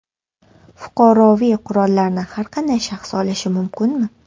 Fuqaroviy qurollarni har qanday shaxs olishi mumkinmi?